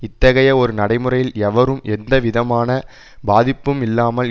இத்தகைய ஒரு நடைமுறையில் எவரும் எந்தவிதமான பாதிப்பும் இல்லாமல்